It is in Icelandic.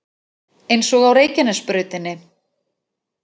Eins og á Reykjanesbrautinni